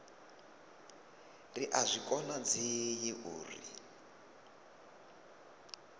ri a zwi konadzei uri